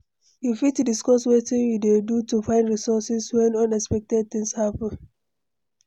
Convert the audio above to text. you fit discuss wetin you dey do to find resources when unexpected things happen?